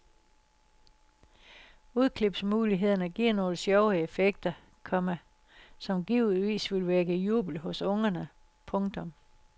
Udklipsmulighederne giver nogle sjove effekter, komma som givetvis vil vække jubel hos ungerne. punktum